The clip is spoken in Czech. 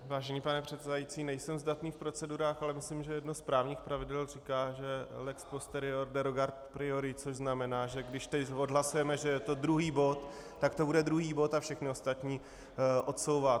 Vážený pane předsedající, nejsem zdatný v procedurách, ale myslím, že jedno z právních pravidel říká, že lex posterior derogat priori, což znamená, že když teď odhlasujeme, že je to druhý bod, tak to bude druhý bod a všechny ostatní odsouvá.